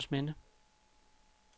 Juelsminde